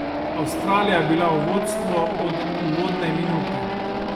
Avstralija je bila v vodstvo od uvodne minute.